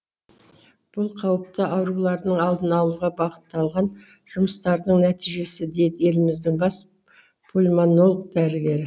бұл қауіпті аурулардың алдын алуға бағытталған жұмыстардың нәтижесі дейді еліміздің бас пульмонолог дәрігері